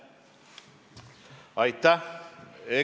Aitäh!